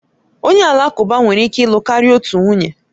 Onye Alakụba nwere ike ịlụ karịa otu nwunye